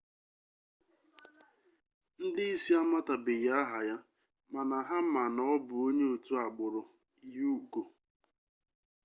ndị isi amatabeghi aha ya mana ha ma na ọ bụ onye otu agbụrụ uigọọ